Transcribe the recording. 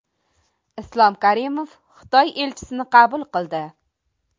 Islom Karimov Xitoy elchisini qabul qildi.